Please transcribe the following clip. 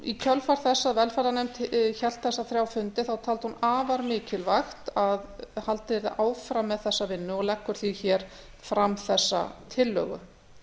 í kjölfar þess að velferðarnefnd hélt þessa þrjá fundi taldi hún afar mikilvægt að haldið yrði áfram með þessa vinnu og leggur því hér fram þessa tillögu það